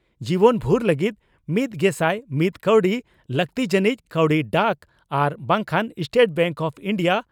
ᱡᱤᱵᱚᱱᱵᱷᱩᱨ ᱞᱟᱹᱜᱤᱫ ᱢᱤᱛᱜᱮᱥᱟᱭ ᱢᱤᱛ ᱠᱟᱣᱰᱤ ᱾ᱞᱟᱠᱛᱤ ᱡᱟᱱᱤᱡ ᱠᱟᱣᱰᱤ ᱰᱟᱠ ᱟᱨ ᱵᱟᱝᱠᱷᱟᱱ ᱥᱴᱮᱴ ᱵᱮᱝᱠ ᱚᱯᱷ ᱤᱱᱰᱤᱭᱟ